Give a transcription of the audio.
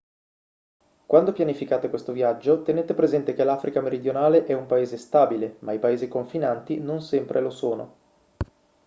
quando pianificate questo viaggio tenete presente che l'africa meridionale è un paese stabile ma i paesi confinanti non sempre lo sono